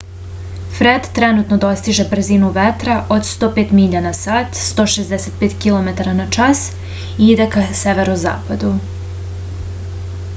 фред тренутно достиже брзину ветра од 105 миља на сат 165 km/h и иде ка северозападу